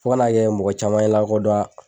Fo ka n'a kɛ mɔgɔ caman ye n lakodɔn.